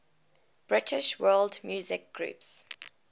british world music groups